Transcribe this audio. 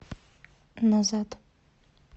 назад